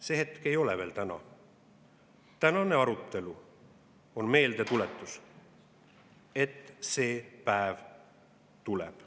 See hetk ei ole veel täna, tänane arutelu on meeldetuletus, et see päev tuleb.